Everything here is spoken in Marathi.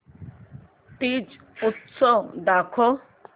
तीज उत्सव दाखव